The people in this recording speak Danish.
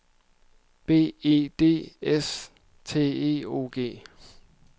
B E D S T E O G